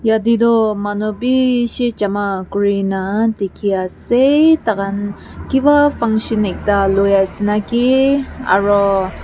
ete toh manu bishi jama kuri na dikhi ase tai khan kiba function ekta lui ase naki aru.